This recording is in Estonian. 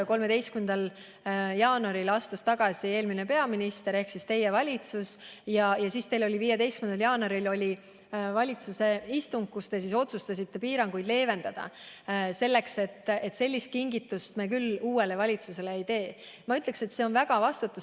13. jaanuaril astus tagasi eelmine peaminister ja 15. jaanuaril oli teie valitsuse istung, kus te otsustasite piiranguid leevendada, kuna sellist kingitust te küll uuele valitsusele ei tahtnud teha.